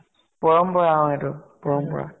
পৰম্পৰা । অ এইটো পৰম্পৰা ।